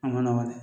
A ma nɔgɔn dɛ